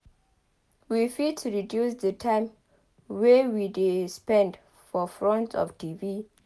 We fit reduce di time wey we de spend for front of TV